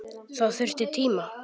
Það þurfti tíma.